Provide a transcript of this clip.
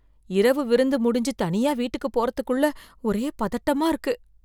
இரவு விருந்து முடிஞ்சு தனியா வீட்டுக்கு போறதுக்குள்ள ஒரே பதட்டமா இருக்கு